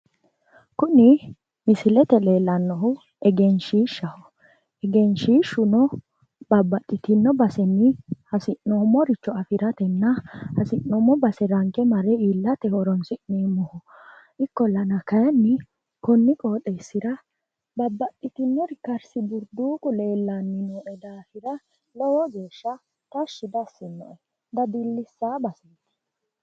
Kunni misilete leellannohu egenshiishshaho. Egenshiishshuno babbaxitino basenni hasi'noomoricho afiratenna hasi'noomo base ranke mare iillate horoonsi'neemoho. Ikkollanna kayinni konni qooxeesira babbaxitinori karsi-burduuqu leellanni nooe daafira lowo geeshsha tashshi dassi'noe dadillisayo baseeti.